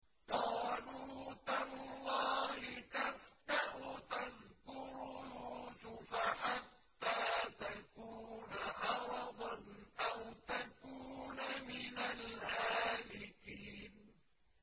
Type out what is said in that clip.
قَالُوا تَاللَّهِ تَفْتَأُ تَذْكُرُ يُوسُفَ حَتَّىٰ تَكُونَ حَرَضًا أَوْ تَكُونَ مِنَ الْهَالِكِينَ